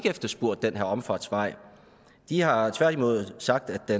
efterspurgt den her omfartsvej de har tværtimod sagt at